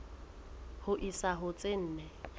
ho isa ho tse nne